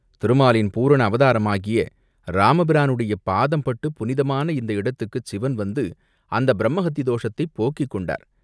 திருமாலின் பூரண அவதாரமாகிய இராமபிரானுடைய பாதம் பட்டுப் புனிதமான இந்த இடத்துக்குச் சிவன் வந்து அந்தப் பிரம்மஹத்தி தோஷத்தைப் போக்கிக் கொண்டார்.